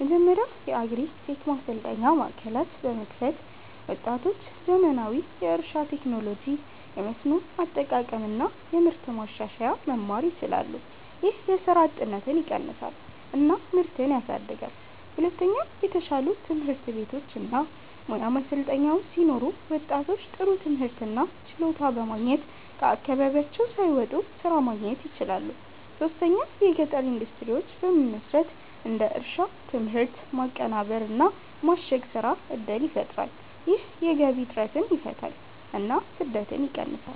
መጀመሪያ የአግሪ-ቴክ ማሰልጠኛ ማዕከላት በመክፈት ወጣቶች ዘመናዊ የእርሻ ቴክኖሎጂ፣ የመስኖ አጠቃቀም እና የምርት ማሻሻያ መማር ይችላሉ። ይህ የስራ እጥረትን ይቀንሳል እና ምርትን ያሳድጋል። ሁለተኛ የተሻሉ ትምህርት ቤቶች እና ሙያ ማሰልጠኛዎች ሲኖሩ ወጣቶች ጥሩ ትምህርት እና ችሎታ በማግኘት ከአካባቢያቸው ሳይወጡ ስራ ማግኘት ይችላሉ። ሶስተኛ የገጠር ኢንዱስትሪዎች በመመስረት እንደ የእርሻ ምርት ማቀናበር እና ማሸግ ስራ እድል ይፈጠራል። ይህ የገቢ እጥረትን ይፈታል እና ስደትን ይቀንሳል።